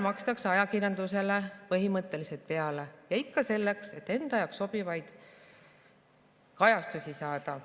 Aga ajakirjandusele põhimõtteliselt makstakse peale ja ikka selleks, et enda jaoks sobivat kajastust saada.